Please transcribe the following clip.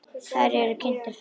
Þær eru kynntar fyrir honum.